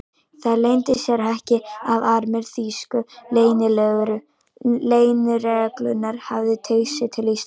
Það leyndi sér ekki, að armur þýsku leynilögreglunnar hafði teygt sig til Íslands.